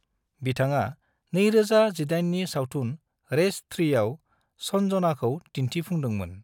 बिथाङा 2018 नि सावथुन रेस 3 आव सन्जनाखौ दिन्थिफुंदोंमोन।